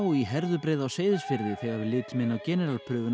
í Herðubreið á Seyðisfirði þegar við litum inn á